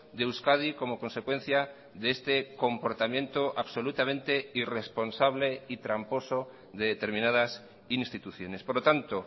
de euskadi como consecuencia de este comportamiento absolutamente irresponsable y tramposo de determinadas instituciones por lo tanto